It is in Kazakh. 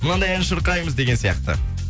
мынандай ән шырқаймыз деген сияқты